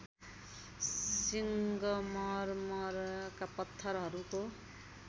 सिङ्गमरमरका पत्थरहरूको